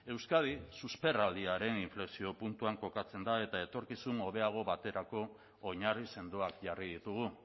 euskadi susperraldiaren inflexio puntuan kokatzen da eta etorkizun hobeago baterako oinarri sendoak jarri ditugu